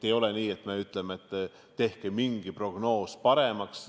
Ei ole nii, et me ütleme, et tehke mingi prognoos paremaks.